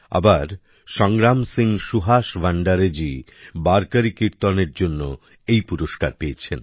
আবার সংগ্রাম সিং সুহাস ভান্ডারে জি বারকরি কীর্তনের জন্য এই পুরস্কার পেয়েছেন